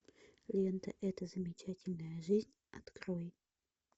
лента эта замечательная жизнь открой